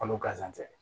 Kalo gansan tɛ